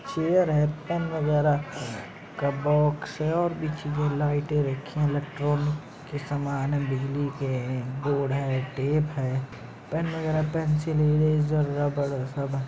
Chair है pen वगेरा का बॉक्स है और भी चीज़े लाइट रखी इलेक्ट्रिकल की सामान बिजली के बोर्ड है टेप है पेन वगेरा पेंसिल इरेज़र रबड़ सब है ।